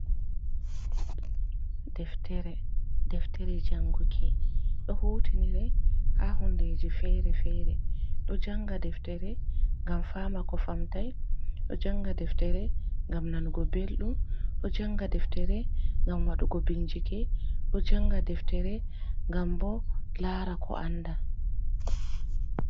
Deftere, deftere janguki ɗo hutinire ha hundeji fere-fere ɗo janga deftere ngam fama, ko famtai ɗo janga deftere gam nanugo belɗum ɗo janga deftere gam waɗugo bincike ɗo janga deftere ngam bo lara ko anda.